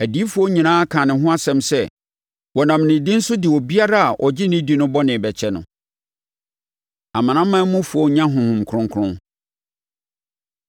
Adiyifoɔ nyinaa kaa ne ho asɛm sɛ, wɔnam ne din so de obiara a ɔgye no di no bɔne bɛkyɛ no.” Amanamanmufoɔ Nya Honhom Kronkron